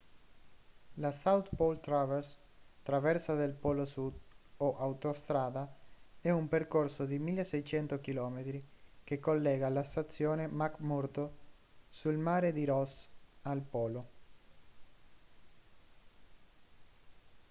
la south pole traverse traversa del polo sud o autostrada è un percorso di 1.600 km che collega la stazione mcmurdo sul mare di ross al polo